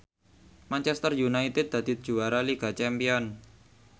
Manchester united dadi juara liga champion